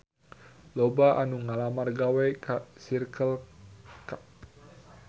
Loba anu ngalamar gawe ka Circle K